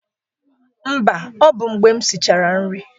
Mba, ọ bụ mgbe m sichara nri